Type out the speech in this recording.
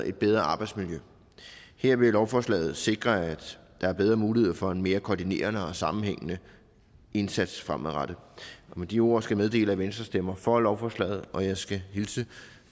et bedre arbejdsmiljø her vil lovforslaget sikre at der er bedre mulighed for en mere koordinerende og sammenhængende indsats fremadrettet med de ord skal jeg meddele at venstre stemmer for lovforslaget og jeg skal hilse